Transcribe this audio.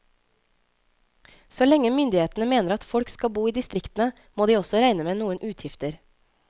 Så lenge myndighetene mener at folk skal bo i distriktene, må de også regne med noen utgifter.